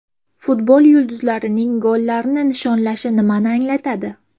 Futbol yulduzlarining gollarni nishonlashi nimani anglatadi?.